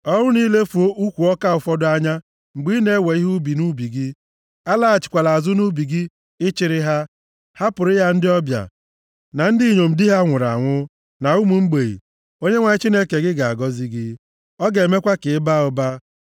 Ọ bụrụ na i lefuo ukwu ọka ụfọdụ anya mgbe ị na-ewe ihe ubi nʼubi gị, alaghachila azụ nʼubi gị ịchịrị ha. Hapụrụ ya ndị ọbịa, na ndị inyom di ha nwụrụ anwụ, na ụmụ mgbei, Onyenwe anyị Chineke gị ga-agọzi gị, ọ ga-emekwa ka ị baa ụba.